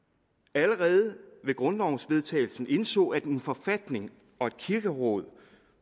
allerede ved grundlovens vedtagelse indså at en forfatning og et kirkeråd